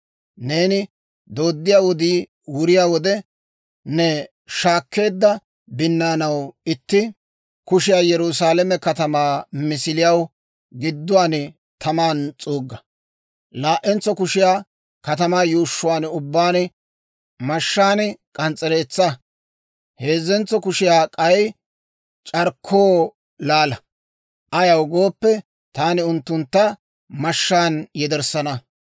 Neeni dooddiyaa wodii wuriyaa wode, ne shaakkeedda binnaanaw itti kushiyaa Yerusaalame katamaa misiliyaw gidduwaan tamaan s'uugga. Laa"entso kushiyaa katamaa yuushshuwaan ubbaan mashshaan k'ans's'ereetsaa. Heezzentso kushiyaa k'ay c'arkkoo laala; ayaw gooppe, taani unttuntta mashshaan yederssana.